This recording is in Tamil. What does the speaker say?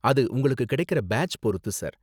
அது உங்களுக்கு கிடைக்குற பேட்ச் பொருத்து சார்.